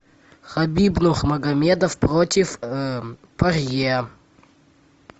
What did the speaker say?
хабиб нурмагомедов против порье